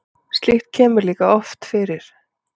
Slíkt kemur líka oft fyrir.